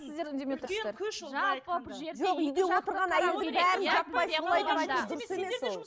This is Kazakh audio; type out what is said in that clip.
сіздер үндемей отырсыздар дұрыс емес ол